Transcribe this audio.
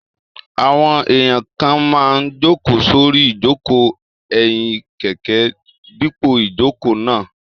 Àwọn èèyàn kan máa n jòkó sórí ìjòkó ẹ̀yìn kẹ̀kẹ́ dípò ìjòkó náà